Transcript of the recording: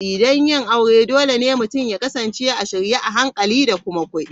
Don yin aure, dole ne mutum ya kasance a shirye a hankali da kuma kudi.